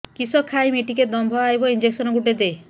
କିସ ଖାଇମି ଟିକେ ଦମ୍ଭ ଆଇବ ଇଞ୍ଜେକସନ ଗୁଟେ ଦେ